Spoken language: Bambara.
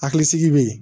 Hakilisigi bɛ ye